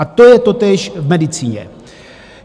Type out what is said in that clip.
A to je totéž v medicíně.